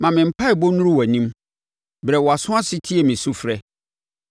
Ma me mpaeɛbɔ nnuru wʼanim; brɛ wʼaso ase tie me sufrɛ.